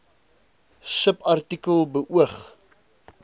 subartikel k beoog